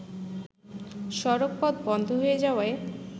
সড়কপথ বন্ধ হয়ে যাওয়ায়